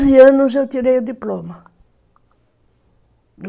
Com onze anos eu tirei o diploma.